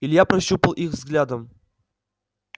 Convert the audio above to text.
илья прощупал их взглядом